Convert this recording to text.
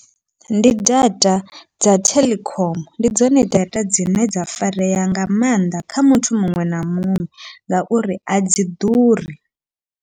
Ndi data dza Telkom, ndi dzone data dzine dza farea nga mannḓa kha muthu muṅwe na muṅwe ngauri adzi ḓuri.